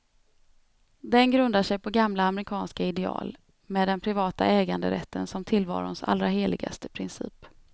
Den grundar sig på gamla amerikanska ideal, med den privata äganderätten som tillvarons allra heligaste princip.